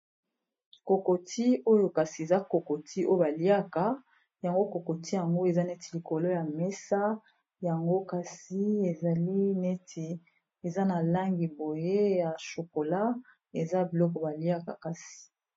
Kokoti oyo kasi eza kokoti oyo baliaka yango kokoti yango eza neti likolo ya mesa yango kasi ezali neti eza na langi boye ya shokola eza biloko baliaka kasi.